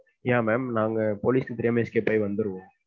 ஏன் ma'am நாங்க police க்கு தெரியாம escape ஆகி வந்துருவோம்.